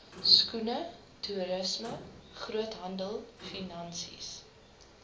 skoene toerisme groothandelfinansies